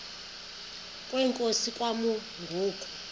kwenkosi kwakumi ngoku